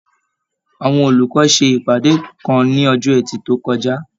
Àwọn olùkọ ṣe ìpàdé kan ní ọjọ ẹtì to kọjá.